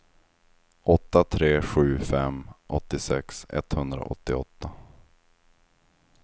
åtta tre sju fem åttiosex etthundraåttioåtta